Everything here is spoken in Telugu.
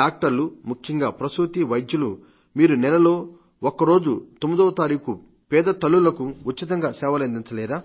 డాక్టర్లు ముఖ్యంగా పసూతి వైద్యులు మీరు నెలలో ఒక్కరోజు 9వ తారీఖు పేద తల్లులకు ఉచితంగా సేవలందించలేరా